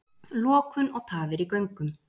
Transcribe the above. Lokun og tafir í göngum